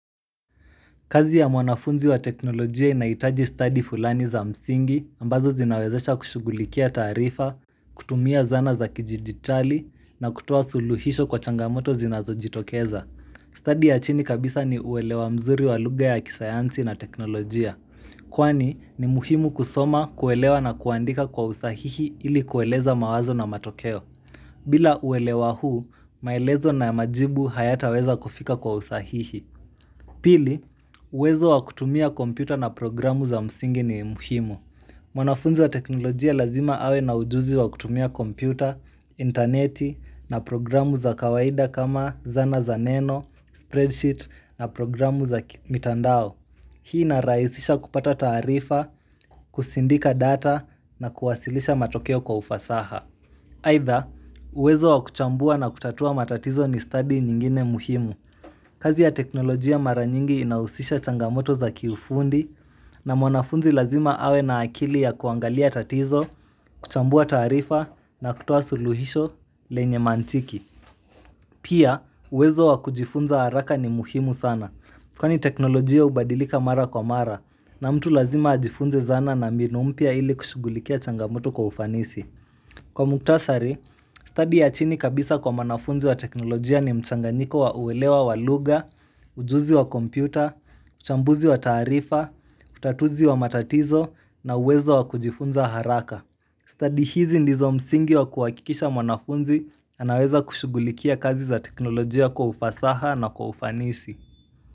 Kazi ya mwanafunzi wa teknolojia inahitaji stadi fulani za msingi ambazo zinawezesha kushugulikia taarifa, kutumia zana za kijiditali, na kutoa suluhisho kwa changamoto zinazojitokeza. Stadi ya chini kabisa ni uelewa mzuri wa lugha ya kisayansi na teknolojia, kwani ni muhimu kusoma, kuelewa na kuandika kwa usahihi ili kueleza mawazo na matokeo. Bila uelewa huu, maelezo na majibu hayataweza kufika kwa usahihi. Pili, uwezo wa kutumia kompyuta na programu za msingi ni muhimu. Mwanafunzi wa teknolojia lazima awe na ujuzi wakutumia kompyuta, interneti na programu za kawaida kama zana za neno, spreadsheet na programu za mitandao. Hii inarahisisha kupata taarifa, kusindika data na kuwasilisha matokeo kwa ufasaha. Aidha, uwezo wakuchambua na kutatua matatizo ni study nyingine muhimu. Kazi ya teknolojia mara nyingi inahusisha changamoto za kiufundi na mwanafunzi lazima awe na akili ya kuangalia tatizo, kuchambua taarifa na kutoa suluhisho lenye mantiki. Pia, uwezo wakujifunza haraka ni muhimu sana, kwani teknolojia hubadilika mara kwa mara na mtu lazima ajifunze zana na mbinu mpya ili kushughulikia changamoto kwa ufanisi. Kwa muktasari, study ya chini kabisa kwa mwanafunzi wa teknolojia ni mchanganyiko wa uelewa wa lugha, ujuzi wa kompyuta, uchambuzi wa taarifa, utatuzi wa matatizo na uwezo wa kujifunza haraka. Study hizi ndizo msingi wa kuhakikisha mwanafunzi anaweza kushughulikia kazi za teknolojia kwa ufasaha na kwa ufanisi.